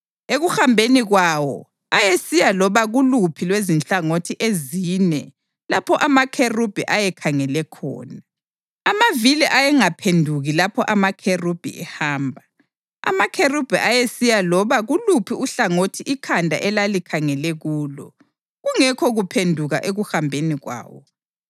Ekuhambeni kwawo, ayesiya loba kuluphi lwezinhlangothi ezine lapho amakherubhi ayekhangele khona; amavili ayengaphenduki lapho amakherubhi ehamba. Amakherubhi ayesiya loba kuluphi uhlangothi ikhanda elalikhangele kulo, kungekho kuphenduka ekuhambeni kwawo.